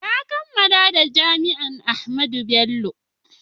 na kammala daga jami'an Ahmadu Bello